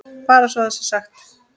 Bara svo það sé sagt.